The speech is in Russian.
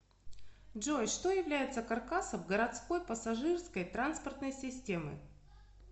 джой что является каркасом городской пассажирской транспортной системы